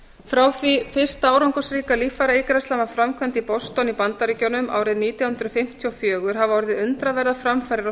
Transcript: frá því fyrsta árangursríka líffæraígræðslan var framkvæmd í boston í bandaríkjunum árið nítján hundruð fimmtíu og fjögur hafa orðið undraverðar framfarir á